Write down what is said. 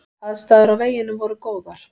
Aðstæður á veginum voru góðar.